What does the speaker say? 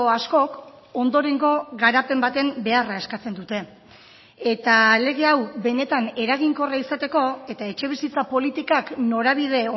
askok ondorengo garapen baten beharra eskatzen dute eta lege hau benetan eraginkorra izateko eta etxebizitza politikak norabide